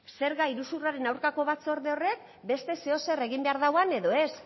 zerga iruzurraren aurkako batzorde horrek beste zer o zerk egin behar duen edo ez